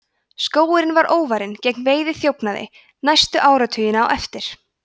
skógurinn var óvarinn gegn veiðiþjófnaði næstu áratugina á eftir